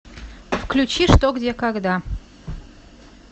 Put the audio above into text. включи что где когда